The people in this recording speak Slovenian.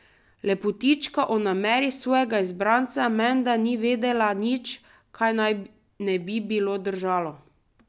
Lepotička o nameri svojega izbranca menda ni vedela nič, kar naj ne bi držalo.